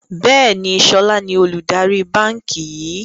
Bẹ́ẹ̀ni, sọlá ni olùdarí báńkì yìí